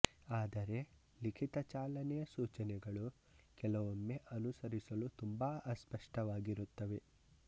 ಆದರೆ ಲಿಖಿತ ಚಾಲನೆಯ ಸೂಚನೆಗಳು ಕೆಲವೊಮ್ಮೆ ಅನುಸರಿಸಲು ತುಂಬಾ ಅಸ್ಪಷ್ಟವಾಗಿರುತ್ತವೆ